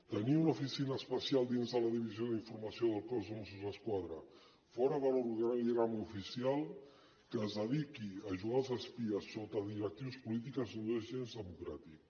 tenir una oficina especial dins de la divisió d’informació del cos de mossos d’esquadra fora de l’organigrama oficial que es dediqui a jugar als espies sota directrius polítiques no és gens democràtic